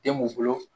Den m'u bolo